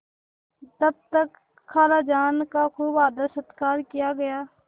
तब तक खालाजान का खूब आदरसत्कार किया गया